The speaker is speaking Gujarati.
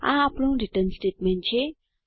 આ આપણું રીટર્ન સ્ટેટમેન્ટ છે